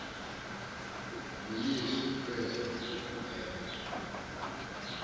nguyesu krestu kuphela